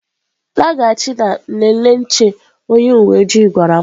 Laghachi na nlele nche onye uwe ojii gwara m